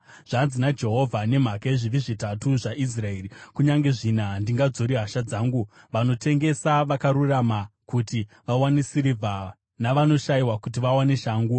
Zvanzi naJehovha: “Nemhaka yezvivi zvitatu zvaIsraeri, kunyange zvina, handingadzori hasha dzangu. Vanotengesa vakarurama kuti vawane sirivha, navanoshayiwa kuti vawane shangu.